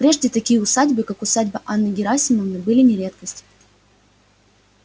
прежде такие усадьбы как усадьба анны герасимовны были не редкость